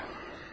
Oyadım artıq?